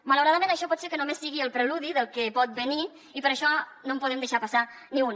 malauradament això pot ser que només sigui el preludi del que pot venir i per això no en podem deixar passar ni una